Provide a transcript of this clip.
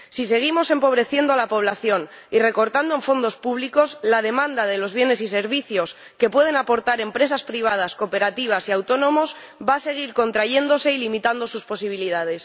Si seguimos empobreciendo a la población y recortando en fondos públicos, la demanda de los bienes y servicios que pueden aportar empresas privadas, cooperativas y autónomos va a seguir contrayéndose y limitando sus posibilidades.